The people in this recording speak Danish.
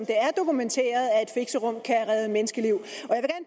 dokumenteret at fixerum kan redde menneskeliv